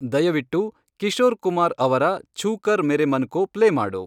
ದಯವಿಟ್ಟುಕಿಶೋರ್ ಕುಮಾರ್ ಅವರ ಛು ಕರ್ ಮೇರೆ ಮನ್ ಕೋ ಪ್ಲೇ ಮಾಡು